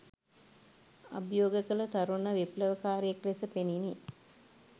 අභියෝග කල තරුණ විප්ලවකාරයෙක් ලෙස පෙණිනි